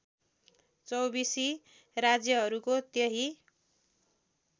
चौबीसी राज्यहरूको त्यही